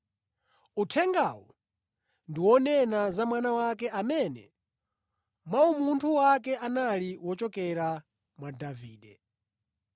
Uthengawu ndi wonena za Mwana wake amene mwa umunthu wake anali wochokera mwa Davide.